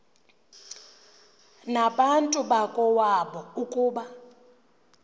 nabantu bakowabo ukuba